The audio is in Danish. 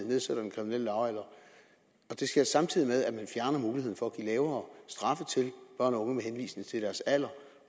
nedsætter den kriminelle lavalder samtidig med at man fjerner muligheden for at give lavere straffe til børn og unge med henvisning til deres alder